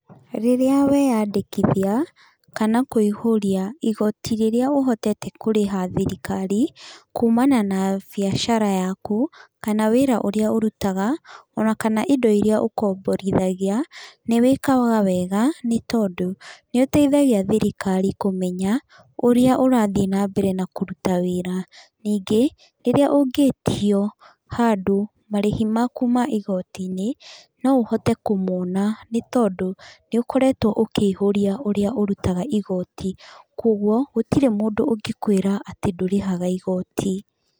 Rĩrĩa weyandĩkithia, kana kũihũria igoti rĩrĩa ũhotete kũrĩha thirikari, kuumana na biacara yaku, kana wĩra ũrĩa ũrutaga ona kana indo irĩa ũkomborithagia, nĩ wĩkaga wega nĩ tondũ nĩ ũteithagia thirikari kũmenya, ũrĩa ũrathiĩ na mbere na kũruta wĩra. Ningĩ, rĩrĩa ũngĩtio handũ marĩhi maku ma igoti-inĩ, no ũhote kũmona nĩ tondũ nĩ ũkoretwo ũkĩihũria ũrĩa ũrutaga igoti. Kũguo gũtirĩ mũndũ ũngĩkwĩra atĩ ndũrĩhaga igoti.